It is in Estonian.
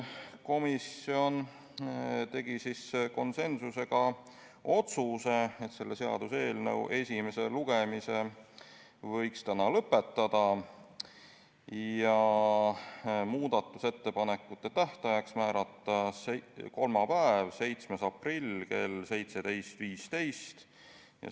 Komisjon tegi konsensusliku otsuse, et selle seaduseelnõu esimese lugemise võiks täna lõpetada, ning muudatusettepanekute tähtajaks määrati kolmapäev, 7. aprill kell 17.15.